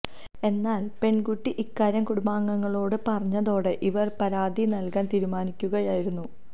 എന്നാല് പെണ്കുട്ടി ഇക്കാര്യം കുടുംബാംഗങ്ങളോട് പറഞ്ഞതോടെ ഇവര് പരാതി നല്കാന് തീരുമാനിക്കുകയായിരുന്നു